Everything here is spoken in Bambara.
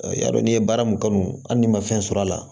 I y'a dɔn n'i ye baara min kanu hali n'i ma fɛn sɔrɔ a la